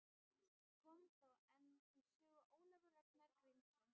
Kom þá enn til sögu Ólafur Ragnar Grímsson.